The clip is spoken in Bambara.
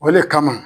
O le kama